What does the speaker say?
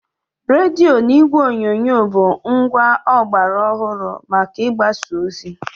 Rediyo na igwe onyonyo bụ ngwa ọgbara ọhụrụ maka ịgbasa ozi.